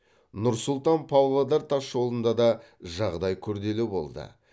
нұр сұлтан павлодар тасжолында да жағдай күрделі болды